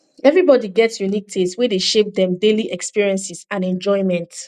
everybody get unique taste wey dey shape dem daily experiences and enjoyment